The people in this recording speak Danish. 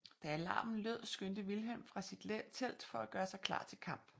Da alarmen lød skyndte Vilhelm fra sit telt for at gøre sig klar til kamp